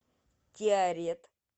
тиарет